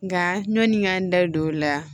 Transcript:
Nka ɲɔni n ka n da don o la